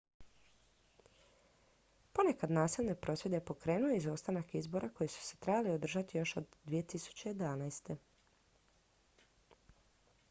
ponekad nasilne prosvjede pokrenuo je izostanak izbora koji su se trebali održati još od 2011